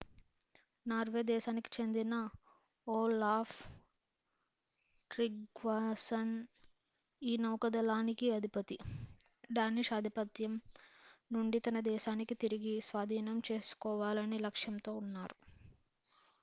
Norway దేశానికి చెందిన Olaf Tryggvason ఈ నౌకాదళానికి అధిపతి డానిష్ ఆధిపత్యం నుండి తన దేశాన్ని తిరిగి స్వాధీనం చేసుకోవాలనే లక్ష్యంతో ఉన్నారు